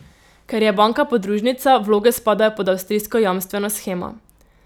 Ker je banka podružnica, vloge spadajo pod avstrijsko jamstveno shemo.